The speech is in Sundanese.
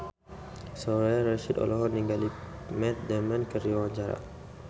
Soraya Rasyid olohok ningali Matt Damon keur diwawancara